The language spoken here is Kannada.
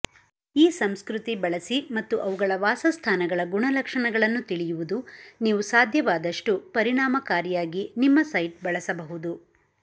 ಈ ಸಂಸ್ಕೃತಿ ಬಳಸಿ ಮತ್ತು ಅವುಗಳ ವಾಸಸ್ಥಾನಗಳ ಗುಣಲಕ್ಷಣಗಳನ್ನು ತಿಳಿಯುವುದು ನೀವು ಸಾಧ್ಯವಾದಷ್ಟು ಪರಿಣಾಮಕಾರಿಯಾಗಿ ನಿಮ್ಮ ಸೈಟ್ ಬಳಸಬಹುದು